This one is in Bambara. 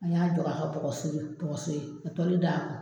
An y'a jɔ k'a kɛ bɔgɔso ye ka d'a kan.